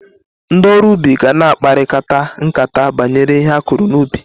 Ndị oru ubi ga-na akparịkata nkata banyere ihe akụrụ n'ubi